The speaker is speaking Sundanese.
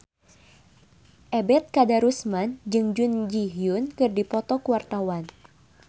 Ebet Kadarusman jeung Jun Ji Hyun keur dipoto ku wartawan